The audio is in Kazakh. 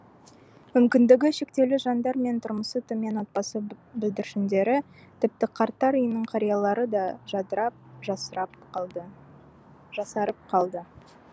мүмкіндігі шектеулі жандар мен тұрмысы төмен отбасы бүлдіршіндері тіпті қарттар үйінің қариялары да жадырап жасарып қалды